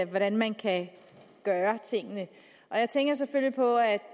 hvordan man kan gøre tingene og jeg tænker selvfølgelig på at